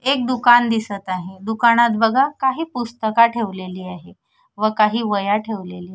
एक दुकान दिसत आहे दुकानात बघा काही पुस्तका ठेवलेली आहे व काही वह्या ठेवलेली आहे.